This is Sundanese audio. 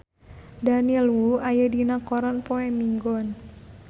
Daniel Wu aya dina koran poe Minggon